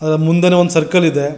ಆ ಮುಂದೇನೆ ಒಂದು ಸರ್ಕಲ್ ಇದೆ.